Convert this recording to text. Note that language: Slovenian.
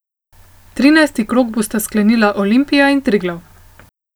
Trinajsti krog bosta sklenila Olimpija in Triglav.